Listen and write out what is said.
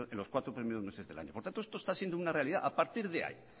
los cuatro primeros meses del año por tanto esto está siendo una realidad a partir de ahí